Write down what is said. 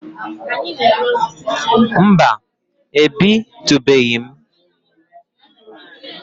Mba ebitubeghi m